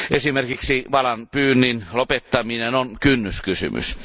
Esimerkiksi valaanpyynnin lopettaminen on kynnyskysymys.